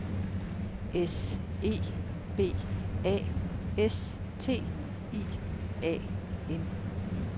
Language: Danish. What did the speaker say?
S E B A S T I A N